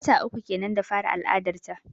Wata uku kenan da fara al'adar ta.